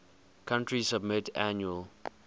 country submit annual